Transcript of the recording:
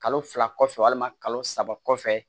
Kalo fila kɔfɛ walima kalo saba kɔfɛ